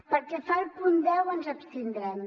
pel que fa al punt deu ens abstindrem